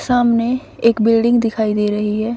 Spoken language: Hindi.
सामने एक बिल्डिंग दिखाई दे रही है।